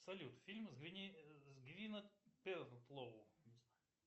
салют фильмы с гвинет пертлоу